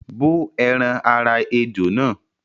bó ẹran ara ejò náà